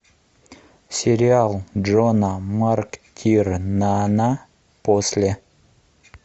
сериал джона мактирнана после